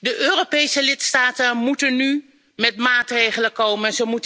resolutie. De Europese lidstaten moeten nu met maatregelen